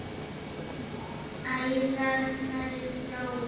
Æðarnar eru bláar.